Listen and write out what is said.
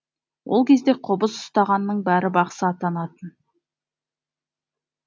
ол кезде қобыз ұстағанның бәрі бақсы атанатын